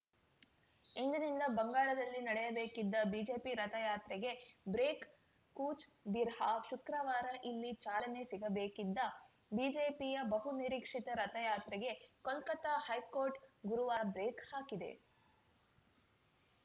ಇಂದಿನಿಂದ ಬಂಗಾಳದಲ್ಲಿ ನಡೆಯಬೇಕಿದ್ದ ಬಿಜೆಪಿ ರಥಯಾತ್ರೆಗೆ ಬ್ರೇಕ್‌ ಕೂಚ್‌ಬಿಹಾರ್‌ ಶುಕ್ರವಾರ ಇಲ್ಲಿ ಚಾಲನೆ ಸಿಗಬೇಕಿದ್ದ ಬಿಜೆಪಿಯ ಬಹುನಿರೀಕ್ಷಿತ ರಥಯಾತ್ರೆಗೆ ಕೊಲ್ಕತಾ ಹೈಕೋರ್ಟ್‌ ಗುರುವಾರ ಬ್ರೇಕ್‌ ಹಾಕಿದೆ